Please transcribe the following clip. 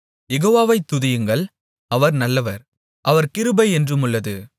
யெகோவாவை துதியுங்கள் அவர் நல்லவர் அவர் கிருபை என்றுமுள்ளது